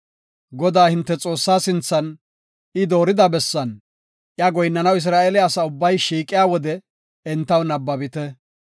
Godaa, hinte Xoossaa sinthan, I doorida bessan, iya goyinnanaw Isra7eele asa ubbay shiiqiya wode entaw nabbabite.